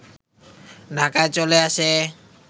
ঢাকায় চলে আসে